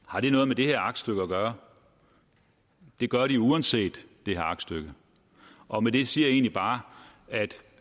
har det noget med det her aktstykke at gøre det gør de uanset aktstykket og med det siger jeg egentlig bare at